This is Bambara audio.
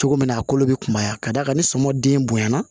Cogo min na a kolo bɛ kunbaya ka d'a kan ni sɔmɔ den bonyana